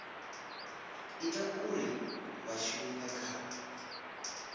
ita uri vha shume kha